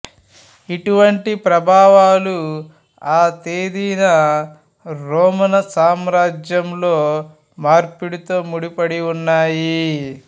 ఇటువంటి ప్రభావాలు ఆ తేదీన రోమను సామ్రాజ్యంలో మార్పిడితో ముడిపడి ఉన్నాయి